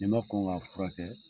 n'i ma kɔn ŋ'a furakɛ